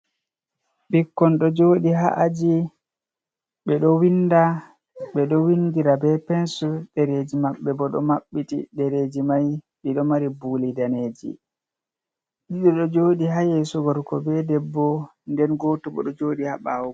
Ɓikkon ɗo joɗi ha’aji ɓeɗo winda ɓeɗo windira be pensul ɗereji maɓɓe bo ɗo maɓɓiti, ɗereji mai ɓeɗo mari buli daneji ɗiɗi ɗo joɗi ha yesu gorko be debbo, nden goto bo ɗo joɗi ha ɓawo.